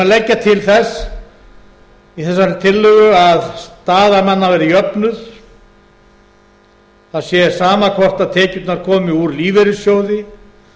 leggja til í þessari tillögu að staða manna verði jöfnuð það sé sama hvort tekjurnar komi úr lífeyrissjóði